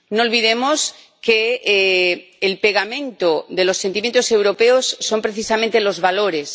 No olvidemos que el pegamento de los sentimientos europeos son precisamente los valores.